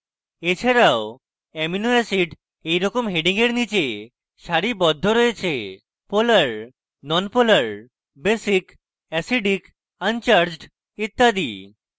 এছাড়াও amino acids এইরকম headings এর নীচে সারিবদ্ধ রয়েছে: polar nonpolar basic acidic uncharged ইত্যাদি